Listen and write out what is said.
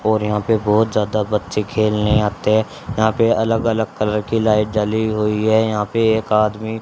और यहां पे बहोत ज्यादा बच्चे खेलने आते हैं यहां पे अलग अलग कलर की लाइट जली हुई है यहां पे एक आदमी--